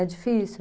É difícil.